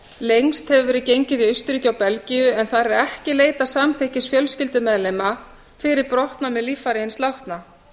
lengst hefur verið gengið í austurríki og belgíu en þar er ekki leitað samþykkis fjölskyldumeðlima fyrir brottnámi líffæra hins látna